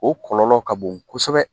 O kɔlɔlɔ ka bon kosɛbɛ